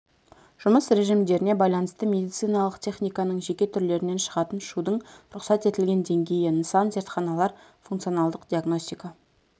жұмыс режимдеріне байланысты медициналық техниканың жеке түрлерінен шығатын шудың рұқсат етілген деңгейі нысан зертханалар функционалдық диагностика